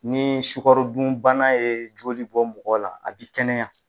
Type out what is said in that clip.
Ni sukarodunbana ye joli bɔ mɔgɔ la a bi kɛnɛya